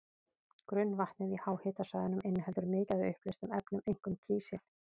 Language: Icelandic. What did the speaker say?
Grunnvatnið í háhitasvæðunum inniheldur mikið af uppleystum efnum, einkum kísil.